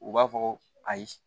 U b'a fɔ ayi